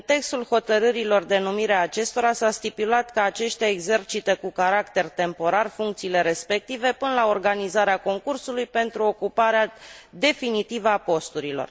În textul hotărârilor de numire a acestora s a stipulat că aceștia exercită, cu caracter temporar, funcțiile respective până la organizarea concursului pentru ocuparea definitivă a posturilor.